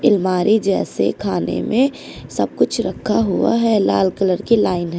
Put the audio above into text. अलमारी जैसे खाने में सब कुछ रखा हुआ है लाल कलर की लाइन ह--